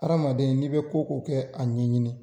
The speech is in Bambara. Adamaden n'i be ko ko kɛ a ɲɛɲini.